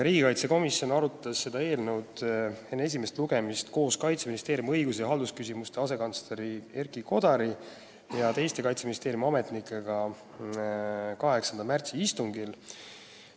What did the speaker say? Riigikaitsekomisjon arutas eelnõu enne esimest lugemist koos Kaitseministeeriumi õigus- ja haldusküsimuste asekantsleri Erki Kodari ja teiste Kaitseministeeriumi ametnikega 8. märtsi istungil.